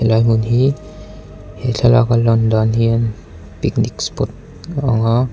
helai hmun hi he thlalaka a lan dan hian picnic spot a ang a.